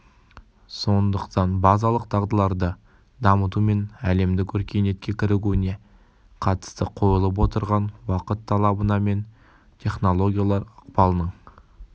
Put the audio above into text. сондықтан базалық дағдыларды дамыту мен әлемдік өркениетке кірігуіне қатысты қойылып отырған уақыт талабына мен технологиялар ықпалының